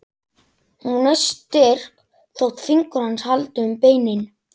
Hún er styrk þótt fingur hans haldi um beinin.